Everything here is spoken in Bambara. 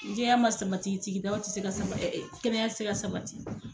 Ni jɛya ma sabati sididaw ti se ka saba ɛ ɛ kɛnɛya ti se ka sabati